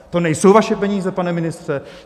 To nejsou vaše peníze, pane ministře!